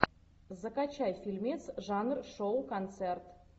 закачай фильмец жанр шоу концерт